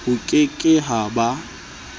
ho ke ke ha ba